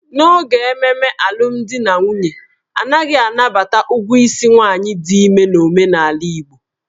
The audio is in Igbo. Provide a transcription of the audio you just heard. N'oge ememe alụmdi na nwunye, a naghị anabata ụgwọ isi nwaanyị dị ime n'omenala Igbo.